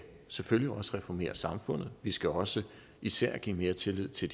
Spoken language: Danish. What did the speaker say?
selvfølgelig også reformere samfundet vi skal også især give mere tillid til